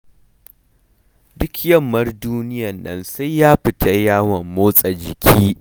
Duk yammar duniyar nan sai ya fita yawon motsa jiki